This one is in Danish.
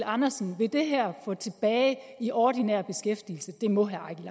andersen vil det her få tilbage i ordinær beskæftigelse det må herre